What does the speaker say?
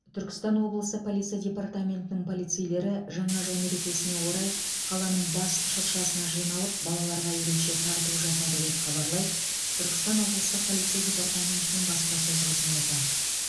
түркістан облысы полиция департаментінің полицейлері жаңа жыл мерекесіне орай қаланың бас шыршасына жиналып балаларға ерекше тарту жасады деп хабарлайды түркістан облыстық полиция департаментінің баспасөз қызметі